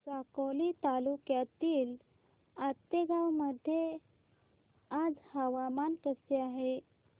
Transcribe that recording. साकोली तालुक्यातील आतेगाव मध्ये आज हवामान कसे आहे